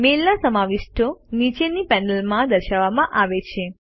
મેઇલના સમાવિષ્ટો નીચેની પેનલમાં દર્શાવવામાં આવે છે